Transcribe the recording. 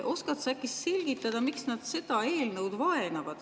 Oskad sa äkki selgitada, miks nad seda eelnõu vaenavad?